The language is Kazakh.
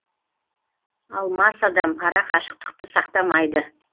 ал мас адам ара қашықтықты сақтамайды